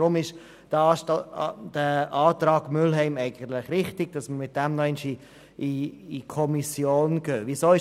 Aus diesem Grund ist der Antrag Mühlheim richtig, damit diese Frage nochmals in die Kommission zurückgeht.